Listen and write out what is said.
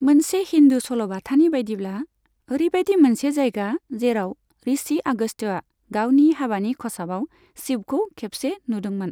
मोनसे हिन्दु सलबाथानि बायदिब्ला, ओरैबायदि मोनसे जायगा जेराव ऋषि आगस्त्यआ गावनि हाबानि खसाबाव शिबखौ खेबसे नुदोंमोन।